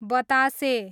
बतासे